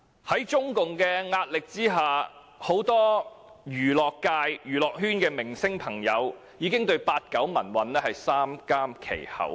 在中共施壓下，很多娛樂圈的明星朋友，不得不對八九民運三緘其口。